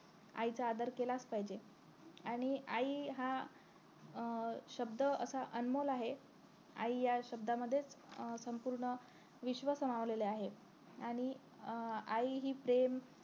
आईचा आदर केलाच पाहिजे आणि आई हा अं शब्द असा अनमोल आहे आई या शब्दामध्ये अं संपूर्ण विश्व सामावलेले आहे आणि अं आई हि प्रेम